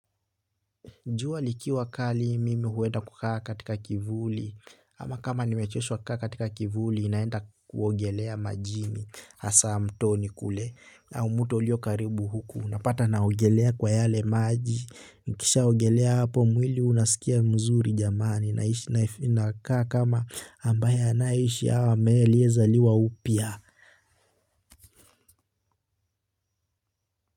Jua likiwa kali mimi huenda kukaa katika kivuli, ama kama nimechoshwa kukaa katika kivuli naenda kuogelea majini, hasa mtoni kule au mto ulio karibu. Napata naogelea kwa yale maji, nikishaogelea hapo mwili unasikia mzuri jamani nakaa kama ambaye anaishi au ambaye alizaliwa upya.